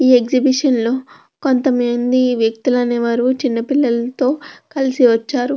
Exhibition లో కొంత మంది వ్యక్తులు అనేవారు చిన్న పిల్లల తో కలిసి వచ్చారు.